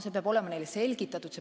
Seda peab olema neile põhjendatud.